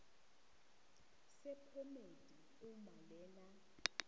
sephomedi uma lena